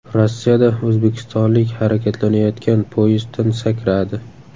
Rossiyada o‘zbekistonlik harakatlanayotgan poyezddan sakradi.